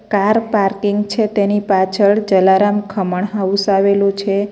Car parking છે તેની પાછળ જલારામ ખમણ હાઉસ આવેલું છે.